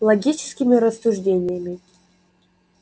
логическими рассуждениями